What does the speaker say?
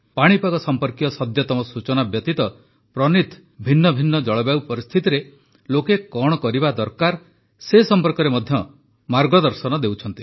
ପାଣିପାଗ ସମ୍ପର୍କୀୟ ସଦ୍ୟତମ ସୂଚନା ବ୍ୟତୀତ ପ୍ରନୀଥ ଭିନ୍ନ ଭିନ୍ନ ଜଳବାୟୁ ପରିସ୍ଥିତିରେ ଲୋକ କଣ କରିବା ଦରକାର ସେ ସମ୍ପର୍କରେ ମାର୍ଗଦର୍ଶନ ମଧ୍ୟ ଦେଉଛନ୍ତି